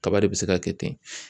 Kaba de bɛ se ka kɛ ten.